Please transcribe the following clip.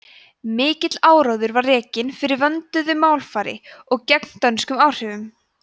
mikill áróður var rekinn fyrir vönduðu málfari og gegn dönskum áhrifum